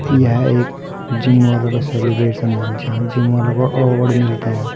एक जिम वालों का सेलिब्रेशन है जहां जिम वालों को अवार्ड मिलते हैं।